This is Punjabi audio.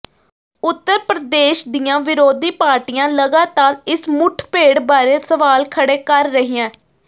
ਉੱਤਰ ਪ੍ਰਦੇਸ਼ ਦੀਆਂ ਵਿਰੋਧੀ ਪਾਰਟੀਆਂ ਲਗਾਤਾਰ ਇਸ ਮੁੱਠਭੇੜ ਬਾਰੇ ਸਵਾਲ ਖੜੇ ਕਰ ਰਹੀਆਂ